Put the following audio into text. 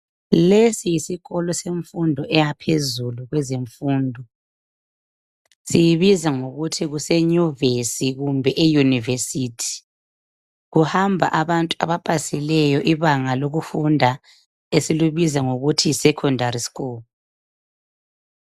Lesi yisikolo semfundo eyaphezulu kwezemfundo , siyibiza ngokuthi kuse nyuvesi kumbe e university , kuhamba abantu abapasileyo ibanga lokufunda esilibiza sithi Yi secondary school